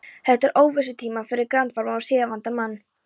Þetta eru óvissutímar fyrir grandvaran og siðavandan mann.